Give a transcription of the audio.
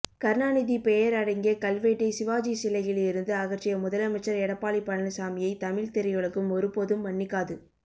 கருணாநிதி பெயர் அடங்கிய கல்வெட்டை சிவாஜி சிலையில் இருந்து அகற்றிய முதலமைச்சர் எடப்பாடி பழனிசாமியை தமிழ் திரையுலகம் ஒருபோதும் மன்னிக்காது